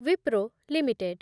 Wipro limited